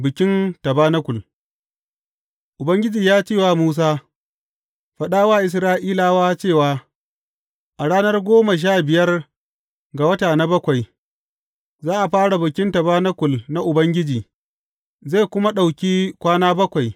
Bikin tabanakul Ubangiji ya ce wa Musa, Faɗa wa Isra’ilawa cewa, A ranar goma sha biyar ga wata na bakwai, za a fara Bikin Tabanakul na Ubangiji, zai kuma ɗauki kwana bakwai.